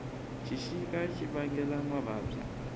xixika xi vangela mavabyi